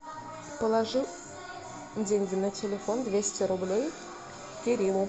положи деньги на телефон двести рублей кириллу